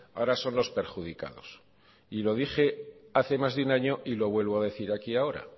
ahora son los perjudicados y lo dije hace más de un año y lo vuelvo a decir aquí ahora